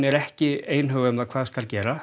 ekki einhuga um hvað skuli gera